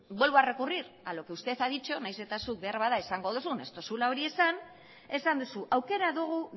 vuelvo a recurrir a lo que usted ha dicho nahiz eta zuk beharbada esango duzun ez duzula hori esan esan duzu aukera dugu